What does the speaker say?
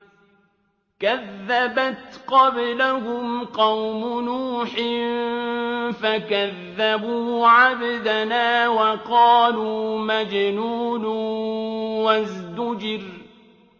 ۞ كَذَّبَتْ قَبْلَهُمْ قَوْمُ نُوحٍ فَكَذَّبُوا عَبْدَنَا وَقَالُوا مَجْنُونٌ وَازْدُجِرَ